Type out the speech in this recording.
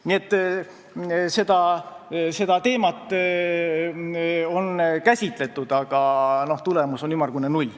" Nii et seda teemat on käsitletud, aga tulemus on ümmargune null.